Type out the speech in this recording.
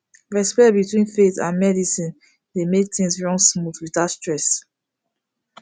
respect between faith and medicine dey make things run smooth without stress